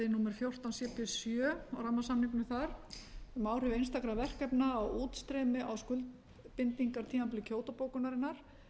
cp sjö og rammasamningnum þar um áhrif einstakra verkefna á útstreymi á skuldbindingartímabili kyoto bókunarinnar